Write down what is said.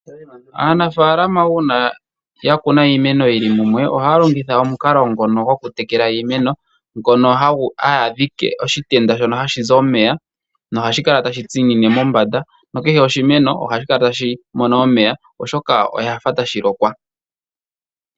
Aanafaalama uuna ya kuna iimeno yili mumwe ohaya longitha omukalo ngono gokutekela iimeno, ngono haya dhike oshitenda shono hashi zi omeya nohashi kala tashi tsinine mombanda, nokehe oshimeno ohashi kala tashi mono omeya, oshoka oshafa tashi lokwa.